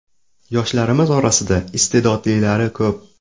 Yoshlarimiz orasida iste’dodlilari ko‘p.